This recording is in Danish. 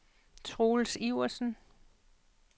Troels Iversen